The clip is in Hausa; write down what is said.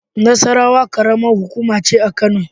Nasarawa ƙaramar hukuma ce a Kano.